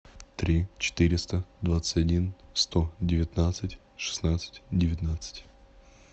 три четыреста двадцать один сто девятнадцать шестнадцать девятнадцать